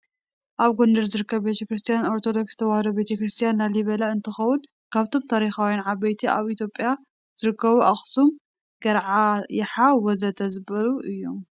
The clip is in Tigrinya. ኣብ ጎንደር ዝርከብ ቤትክርስትያ ኦርቶዶክስ ተዋህዶ ቤተክርስትያ ላሊበላ እንተከውን ካብቶም ታሪካውያን ዓበይቲ ኣብ ኢትዮጰያ ዝረከቡ ኣክሱም ፣ገረዓ፣ የሓ ወዘተ...ዝበሉ እዮም።